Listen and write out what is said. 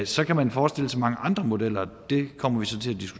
så kan man forestille sig mange andre modeller og det kommer vi så